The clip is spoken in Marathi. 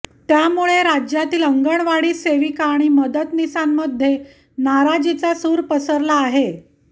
त्यामुळे राज्यातील अंगणवाडी सेविका आणि मदतनीसांमध्ये नाराजीचा सुर पसरला आहे